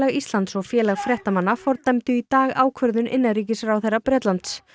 Íslands og Félag fréttamanna fordæmdu í dag ákvörðun innanríkisráðherra Bretlands